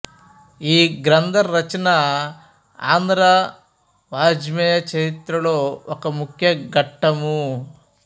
ఈ గ్రంథ రచన ఆంధ్ర వాఙ్మయ చరిత్రలో ఒక ముఖ్య ఘట్టము